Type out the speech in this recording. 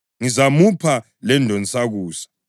Ngizamupha lendonsakusa.